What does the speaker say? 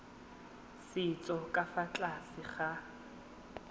setso ka fa tlase ga